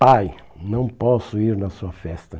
Pai, não posso ir na sua festa.